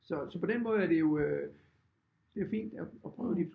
Så så på den måde er det jo øh det er fint at prøve de